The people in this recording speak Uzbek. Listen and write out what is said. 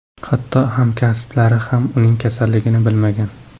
Hatto hamkasblari ham uning kasalligini bilmagan.